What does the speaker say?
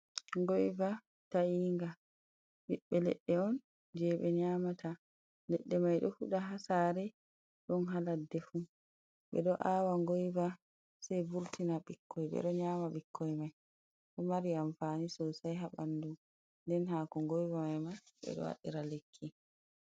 Goiva ta'inga ɓiɓɓe leɗɗe'on je ɓe nyaamata, leɗɗe mai ɗo o fuɗa ha saare ɗon ha laddefu ɓe ɗo awa goiva sei vurtina ɓikkoi ɓe ɗo nyaama ɓikkoi mai, ɗo mari amfani sosai ha ɓandu nden haako goiva maima ɓe ɗo waɗira lekki.